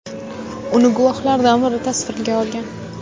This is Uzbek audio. Uni guvohlardan biri tasvirga olgan.